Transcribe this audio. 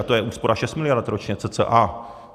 A to je úspora 6 miliard ročně cca.